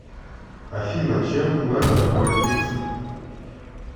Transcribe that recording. афина чем платят у мальтийцев